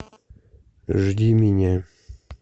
жди меня